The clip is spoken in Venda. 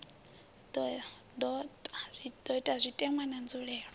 do ta zwitenwa na nzulelele